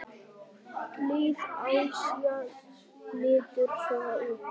Lið Asíu lítur svona út